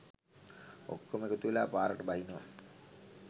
ඔක්කොම එකතුවෙලා පාරට බහිනවා.